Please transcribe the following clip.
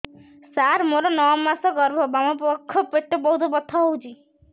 ସାର ମୋର ନଅ ମାସ ଗର୍ଭ ବାମପାଖ ପେଟ ବହୁତ ବଥା ହଉଚି